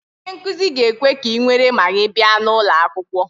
Onye nkuzi ga-ekwe ka ị nwere Magị bịa n'ulo akwukwo